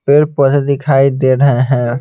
पेड़ पौधे दिखाई दे रहे हैं।